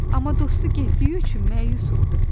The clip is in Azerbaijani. Amma dostu getdiyi üçün məyus oldu.